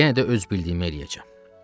Yenə də öz bildiyimi eləyəcəm.